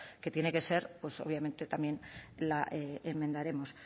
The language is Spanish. que tiene que ser pues obviamente también la enmendaremos